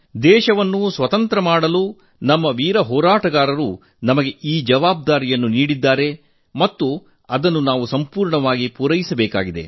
ದೇಶವನ್ನು ವಿಮೋಚನೆಗೊಳಿಸಲು ನಮ್ಮ ವೀರ ಹೋರಾಟಗಾರರು ನಮಗೆ ಈ ಜವಾಬ್ದಾರಿ ನೀಡಿದ್ದಾರೆ ಮತ್ತು ಅದನ್ನು ನಾವು ಸಂಪೂರ್ಣ ಸಾಕಾರಗೊಳಿಸಬೇಕಿದೆ